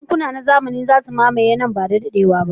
Bankuna na zamani za su mamaye nan ba da daɗewa ba.